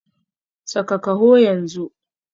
Saka kaho yanzu